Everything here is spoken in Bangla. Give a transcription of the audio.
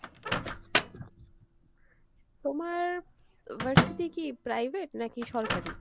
তোমার আহ ভার্সিটি কী private নাকি সরকারি?